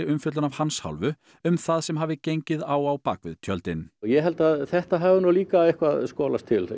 umfjöllun af hans hálfu um það sem hafi gengið á á bak við tjöldin ég held að þetta hafi líka eitthvað skolast til